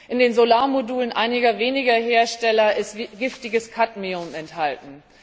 In den Solarmodulen einiger weniger Hersteller ist giftiges Kadmium enthalten.